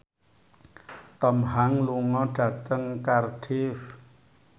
Tom Hanks lunga dhateng Cardiff